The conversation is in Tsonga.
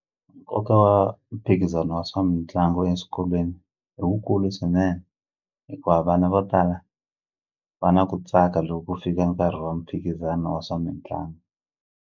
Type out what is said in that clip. Nkoka wa mphikizano wa swa mitlangu eswikolweni i wukulu swinene hikuva vana vo tala va na ku tsaka loko ku fika nkarhi wa mphikizano wa swa mitlangu.